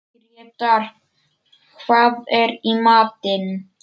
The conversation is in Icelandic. Grétar, hvað er í matinn?